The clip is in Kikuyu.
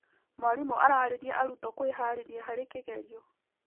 Mwarimũ ariria arutwo kwĩharĩrĩria harĩ kĩgerio.